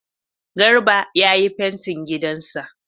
Garba ya yi fantin gidan sa